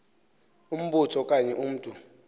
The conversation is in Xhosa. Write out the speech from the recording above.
umbutho okanye umntu